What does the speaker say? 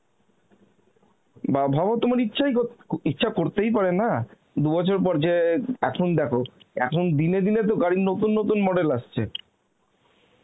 বা ভাবো তোমার ইচ্ছাই কর~ ইচ্ছাই করতে পারে না দুবছর পর যে এখন দেখো এখন দিনে দিনে তো গাড়ির নতুন নতুন model আসছে